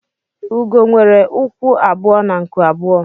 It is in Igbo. Ugo nwere ụkwụ abụọ na nku abụọ